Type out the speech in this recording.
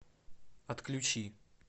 отключи